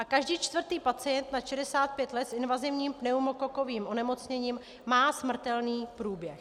A každý čtvrtý pacient nad 65 let s invazivním pneumokokovým onemocněním má smrtelný průběh.